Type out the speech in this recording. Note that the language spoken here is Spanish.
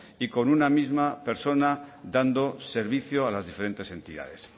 y con una misma persona dando servicio a las diferentes entidades